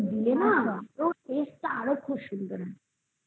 কাজু বাদাম দাও তারপরে পিস্তা বাদাম দাও এগুলো দিয়ে না taste তা আরো খুব সুন্দর